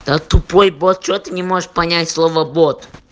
да тупой бот что ты не можешь понять слово бот